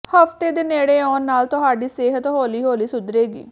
ਹਫਤੇ ਦੇ ਨੇੜੇ ਆਉਣ ਨਾਲ ਤੁਹਾਡੀ ਸਿਹਤ ਹੌਲੀ ਹੌਲੀ ਸੁਧਰੇਗੀ